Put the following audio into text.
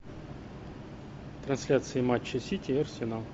трансляция матча сити и арсенал